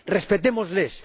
Respetémosles.